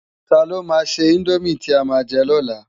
Tá ló má sè indómi ti á má jè lò lá?